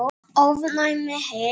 ofnæm heyrn